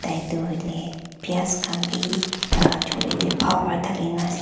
etu hoile pais khan bi taila chole te bhal para dhali na ase.